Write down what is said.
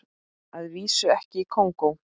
Að vísu ekki í Kongó.